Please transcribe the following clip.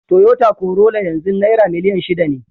Toyota Corolla yanzu naira miliyan shida ne.